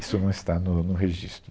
Isso não está no no registro.